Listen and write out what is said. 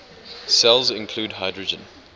cells include hydrogen